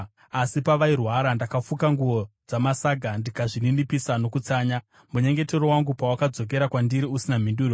Asi pavairwara, ndakafuka nguo dzamasaga ndikazvininipisa nokutsanya. Munyengetero wangu pawakadzokera kwandiri usina mhinduro,